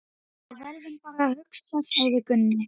Við verðum bara að hugsa, sagði Gunni.